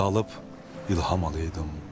Dalıb ilham alaydım.